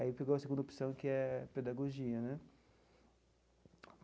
Aí pegou a segunda opção, que é pedagogia né.